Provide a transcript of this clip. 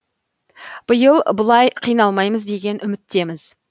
биыл бұлай қиналмаймыз деген үміттеміз